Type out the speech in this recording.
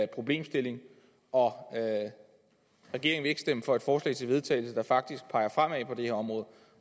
problemstilling og regeringen vil ikke stemme for et forslag til vedtagelse der faktisk peger fremad på det her område